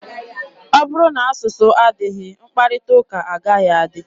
Ọ bụrụ na asụsụ adịghị, mkparịta ụka agaghị adị.